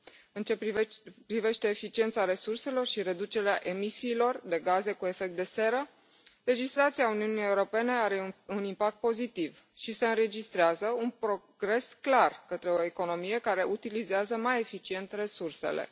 În ce privește eficiența resurselor și reducerea emisiilor de gaze cu efect de seră, legislația Uniunii Europene are un impact pozitiv și se înregistrează un progres clar către o economie care utilizează mai eficient resursele.